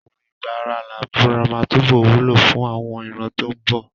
Òwe "ìgbà ara làá búra" máa túbọ̀ wúlò fún àwọn ìran tó ń bọ̀.